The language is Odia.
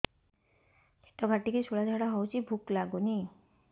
ପେଟ କାଟିକି ଶୂଳା ଝାଡ଼ା ହଉଚି ଭୁକ ଲାଗୁନି